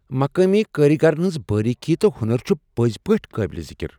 مقامی کٲرۍگرن ہنٛز باریکی تہٕ ہُنر چھےٚ پٔزۍ پٲٹھۍ قٲبل ذکر۔